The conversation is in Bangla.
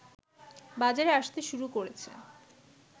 বাজারে আসতে শুরু করেছে